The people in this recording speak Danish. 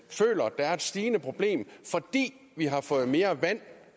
der er et stigende problem fordi vi har fået mere vand